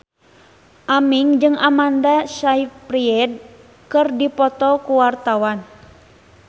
Aming jeung Amanda Sayfried keur dipoto ku wartawan